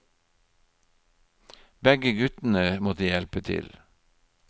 Begge guttene måtte hjelpe til.